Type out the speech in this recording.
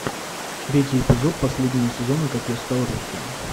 третий эпизод последнего сезона как я стал русским